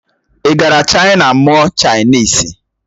Ị gara Chaina mụọ Chainisi?